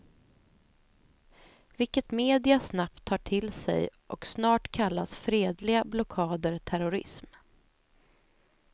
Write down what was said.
Vilket media snabbt tar till sig och snart kallas fredliga blockader terrorism.